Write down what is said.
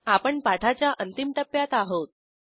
आपण पाठाच्या अंतिम टप्प्यात आहोत